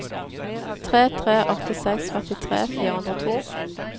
tre tre åtte seks førtitre fire hundre og to